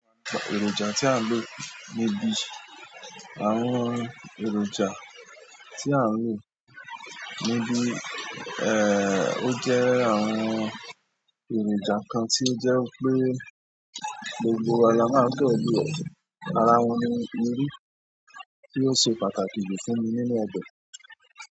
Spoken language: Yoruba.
Èròjà tí à ń lò níbi, àwọn èròjà tí à ń lò níbi, ẹ́, ó jẹ́ àwọn èròjà kan tí ó jẹ́ pé gbogbo wa la máa gbọdọ̀ lò. Ara wọn ni irú tí o se pàtàkì jù fún ni nínú ọbẹ̀.